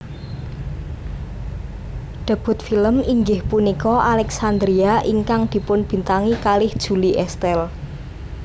Debut film inggih punika Alexandria ingkang dipunbintangi kalih Julie Estelle